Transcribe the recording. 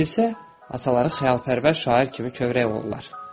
Keşiş ataları xəyalpərvər şair kimi kövrək olurlar.